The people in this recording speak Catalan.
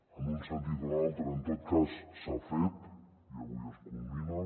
en un sentit o en un altre en tot cas s’ha fet i avui es culmina